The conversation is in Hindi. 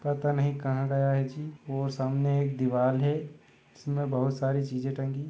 पता नहीं कहाँ गया है जी वो सामने एक दीवाल है जिसमे बहोत सारी चीज़े टंगी--